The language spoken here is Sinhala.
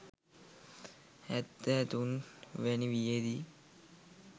හැත්තෑ තුන් වැනි වියේදී